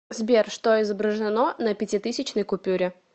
сбер что изображено на пятитысячной купюре